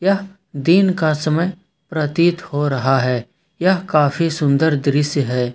यह दिन का समय प्रतीत हो रहा है यह काफी सुंदर दृश्य है।